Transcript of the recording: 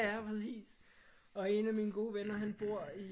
Ja præcis og en af mine gode venner han bor i